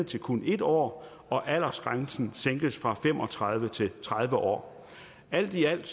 til kun en år og aldersgrænsen sænkes fra fem og tredive år til tredive år alt i alt